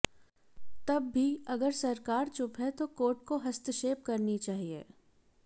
तब भी अगर सरकार चुप है तो कोर्ट को हस्तक्षेप करनी चाहये